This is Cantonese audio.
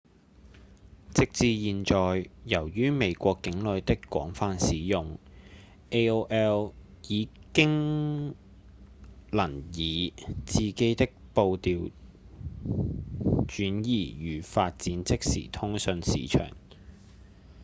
直至現在由於美國境內的廣泛使用 aol 已能夠以自己的步調轉移與發展即時通訊市場